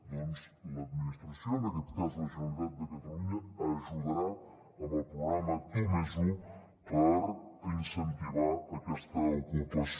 doncs l’administració en aquest cas la generalitat de catalunya ajudarà amb el programa tu +un a incentivar aquesta ocupació